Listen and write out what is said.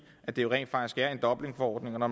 det jo rent faktisk er i dublinforordningen og